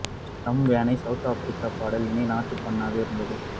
stem வேன் ஐ South Africa பாடல் இணை நாட்டுப்பண்ணாக இருந்தது